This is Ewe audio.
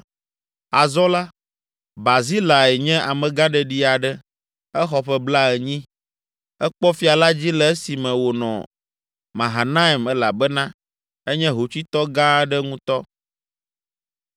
Azɔ la, Barzilai nye amegãɖeɖi aɖe: exɔ ƒe blaenyi. Ekpɔ fia la dzi le esime wònɔ Mahanaim elabena enye hotsuitɔ gã aɖe ŋutɔ.